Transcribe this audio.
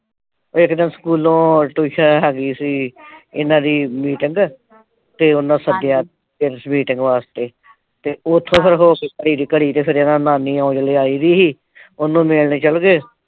ਇੱਕ ਦਿਨ ਸਕੂਲੋਂ . ਹੈਗੀ ਸੀ ਇਨ੍ਹਾਂ ਦੀ meeting ਤੇ ਉਨ੍ਹਾਂ ਸੱਦਿਆ ਸੀ ਮੀਟਿੰਗ ਵਾਸਤੇ ਤੇ ਉਥੋਂ ਫਿਰ . ਘੜੀ ਫਿਰ ਇਨ੍ਹਾਂ ਦੀ ਨਾਨੀ ਹਲੇ ਆਈ ਨੀ ਸੀ ਉਹਨੂੰ ਮਿਲਣ ਚਲੇਗੇ।